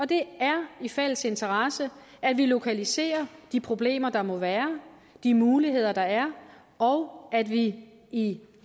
det er i fælles interesse at vi lokaliserer de problemer der må være de muligheder der er og at vi i